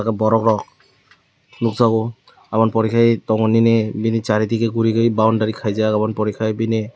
borok nukjago obo ni pore kai tongo nini chari digi gurinai boundary khai jak oboni pore kai bini.